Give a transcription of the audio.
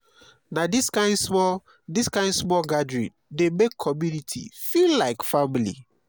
na dis kain small dis kain small gathering dey make community feel like family.